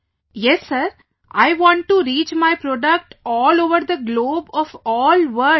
Vijayashanti ji yes sir, I want to reach my product all over the globe of all world